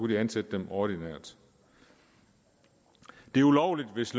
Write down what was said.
de ansætte dem ordinært det er ulovligt hvis